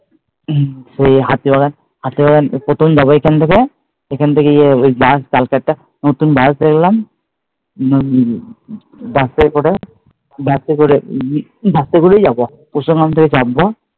হম সেই হাতিবাগান, হাতিবাগান প্রথম যাবো এখান থেকে, এখান থেকে ঐ যে বাস কালকে একটা নতুন বাস দেখলাম ওটাই করে, বাসে উম বাসে করেই যাবো, চাপবো